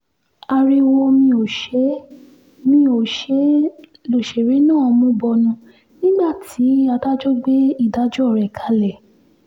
ariwo mi ò ṣe é mi ò ṣe é lọ́sẹ̀rẹ̀ náà mú bọnu nígbà tí adájọ́ gbé ìdájọ́ rẹ̀ kalẹ̀